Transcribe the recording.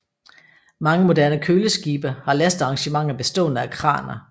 Mange moderne køleskibe har lastearrangementer bestående af kraner